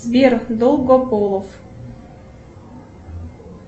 сбер долгополов